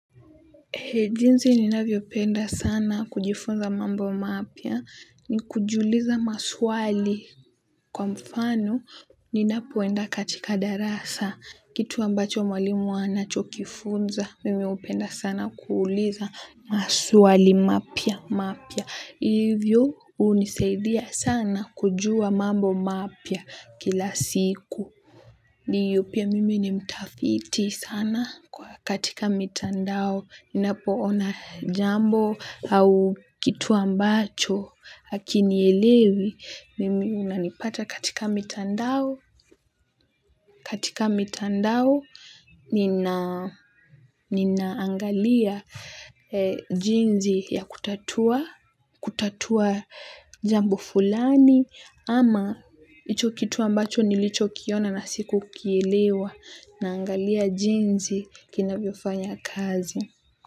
Jinsi ninavyopenda sana kujifunza mambo mapya ni kujiuliza maswali kwa mfano ninapoenda katika darasa. Kitu ambacho mwalimu anachokifunza mimi hupenda sana kuuliza maswali mapya hivyo hunisaidia sana kujua mambo mapya kila siku. Na pia mimi ni mtafiti sana kwa katika mitandao. Ninapoona jambo au kitu ambacho hakinielewi. Mimi unanipata katika mitandao. Katika mitandao ninaangalia jinsi ya kutatua, kutatua jambo fulani. Ama hicho kitu ambacho nilichokiona na sikukielewa. Naangalia jinsi kinavyofanya kazi.